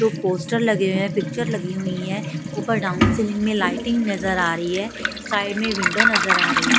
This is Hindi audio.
जो पोस्टर लगे हुए हैं पिक्चर लगी हुई है ऊपर डाउन सीलिंग में लाइटिंग नजर आ रही है साइड में विंडो नजर आ रही है।